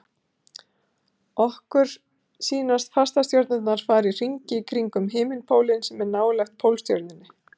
okkur sýnast fastastjörnurnar fara í hringi kringum himinpólinn sem er nálægt pólstjörnunni